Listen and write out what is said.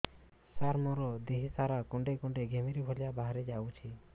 ସାର ମୋର ଦିହ ସାରା କୁଣ୍ଡେଇ କୁଣ୍ଡେଇ ଘିମିରି ଭଳିଆ ବାହାରି ଯାଉଛି